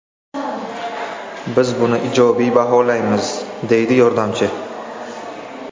Biz buni ijobiy baholaymiz”, deydi yordamchi.